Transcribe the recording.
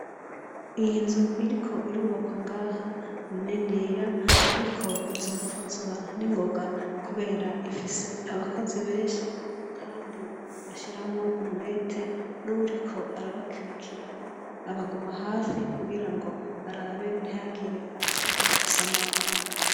Iyinzu iriko irubakwa ngaha ni niniya ariko izokuzura ningoga kubera ifise abakozi benshi kandi bashiramwo umwete nkuwuriko arabakwirikirana abaguma hafi kugirango barabe ntihagire abashobora gusamara